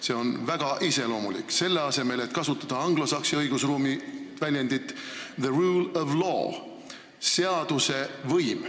See on väga iseloomulik, selle asemel et kasutada anglosaksi õigusruumi väljendit the rule of law ehk "seaduse võim".